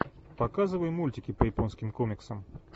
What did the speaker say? показывай мультики по японским комиксам